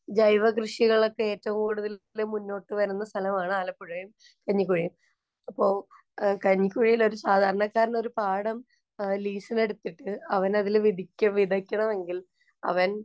ജൈവകൃഷികളൊക്കെ ഏറ്റവും കൂടുതല്‍ മുന്നോട്ടു വരുന്ന സ്ഥലമാണ്‌ ആലപ്പുഴയിലെ കഞ്ഞിക്കുഴി. അപ്പൊ കഞ്ഞിക്കുഴിയില്‍ ഒരു സാധാരണക്കാരന്‌ ഒരു പാടം ലീസിനെടുത്തിട്ടു അവനതില്‍ വിധിക്ക വിതയ്ക്കണമെങ്കില്‍ അവന്‍